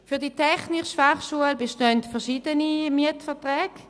Für die TF Bern bestehen verschiede Mietverträge.